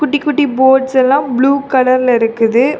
குட்டிகுட்டி boats எல்லாம் blue colour ல இருக்குது.